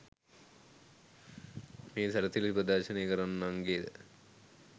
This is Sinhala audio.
මේ සැරසිලි ප්‍රදර්ශනය කරන්නන්ගේද